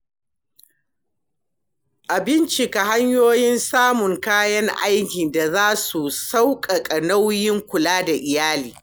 A bincika hanyoyin samun kayan aikin da za su sauƙaƙa nauyin kula da iyali.